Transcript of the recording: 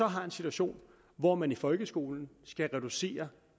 har en situation hvor man i folkeskolen skal reducere